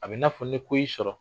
A bɛ n'a fɔ ni ko y'i sɔrɔ.